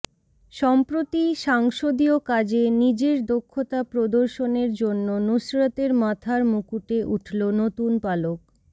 সম্প্রতি সাংসদীয় কাজে নিজের দক্ষতা প্রদর্শনের জন্য নুসরতের মাথার মুকুটে উঠল নতুন পালক